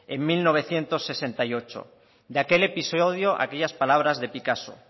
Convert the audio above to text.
en mil novecientos sesenta y ocho de aquel episodio aquellas palabras de picasso